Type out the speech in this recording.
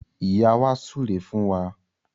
Ìyá wa súre fún wa